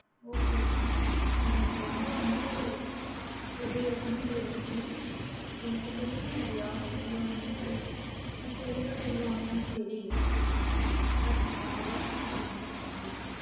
okay mam இது எனக்கு ரொம்ப வந்து உபயோகமா இருஞ்சி எனக்கு தெரிஞ்சி வேற யாரும் இவ்வளோ வந்து detailed சொல்லுவாங்களா தெரியல but நீங்க சொல்லிருகிங்க ரொம்ப thank you mam